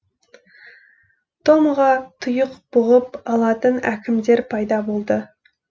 томаға тұйық бұғып алатын әкімдер пайда болды